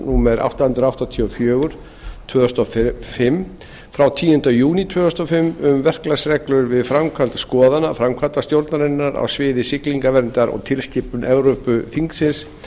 númer átta hundruð áttatíu og fjögur tvö þúsund og fimm frá tíunda júní tvö þúsund og fimm um verklagsreglur við framkvæmd skoðana framkvæmdastjórnarinnar á sviði siglingaverndar og tilskipun evrópuþingsins